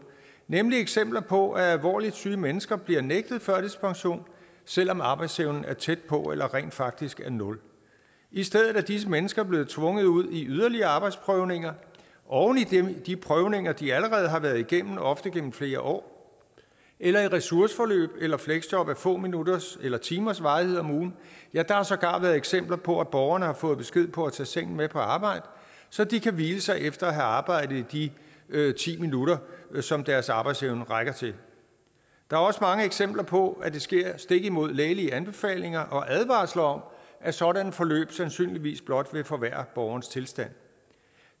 nemlig eksempler på at alvorligt syge mennesker bliver nægtet førtidspension selv om arbejdsevnen er tæt på at være eller rent faktisk er nul i stedet er disse mennesker blevet tvunget ud i yderligere arbejdsprøvninger oven i de prøvninger som de allerede har været igennem ofte igennem flere år eller i ressourceforløb eller fleksjob af få minutters eller timers varighed om ugen ja der har sågar været eksempler på at borgere har fået besked på at tage sengen med på arbejde så de kan hvile sig efter at have arbejdet i de ti minutter som deres arbejdsevne rækker til der er også mange eksempler på at det sker stik imod lægelige anbefalinger og advarsler om at sådanne forløb sandsynligvis blot vil forværre borgerens tilstand